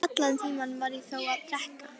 Allan tímann var ég þó að drekka.